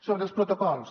sobre els protocols